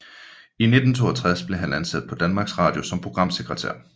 I 1962 blev han ansat på Danmarks Radio som programsekretær